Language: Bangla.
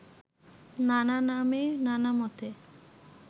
নানা নামে নানা মতে